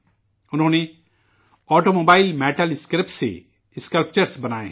انہوں نے automobile scrap سے مجسمے بنائے ہیں